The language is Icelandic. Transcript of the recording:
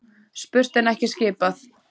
Spurt en ekki skipað.